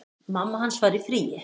Mamma hans var í fríi.